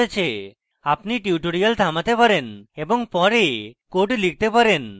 আপনি tutorial থামাতে পারেন এবং পরে code লিখতে পারেন